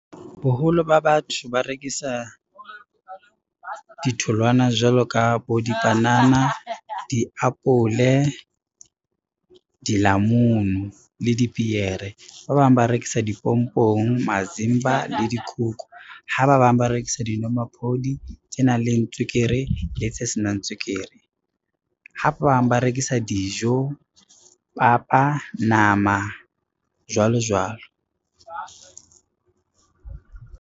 Boholo ba batho ba rekisa ditholwana jwalo ka bo dipanana, diapole, dilamunu le dipiere. Ba bang ba rekisa dipompong, mazimba le dikuku, ha ba bang ba rekisa dinomaphodi tse nang le tswekere le tse senang tswekere. Ha ba bang ba rekisa dijo, papa, nama jwalo jwalo.